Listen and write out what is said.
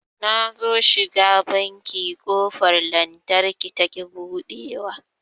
Nazo shiga banki ƙofar lantarkin taƙi buɗewa